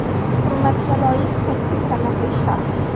Hurmatga loyiq sakkiz taniqli shaxs.